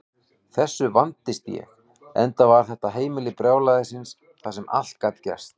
Þessu vandist ég, enda var þetta heimili brjálæðisins þar sem allt gat gerst.